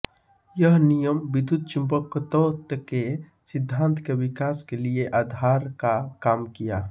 यह नियम विद्युतचुम्बकत्व के सिद्धान्त के विकास के लिये आधार का काम किया